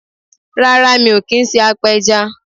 Rárá mi ò kí n se apẹja